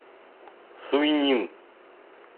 суйнин